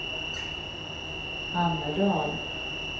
Hammerdal